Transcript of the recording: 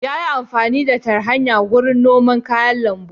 Yana amfani da fartanya wurin noman kayan lambu.